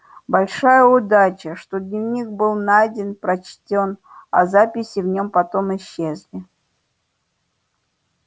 большая удача что дневник был найден прочтён а записи в нём потом исчезли